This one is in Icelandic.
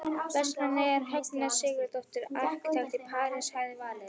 Vestmanneyingurinn Högna Sigurðardóttir arkitekt í París hafði valið.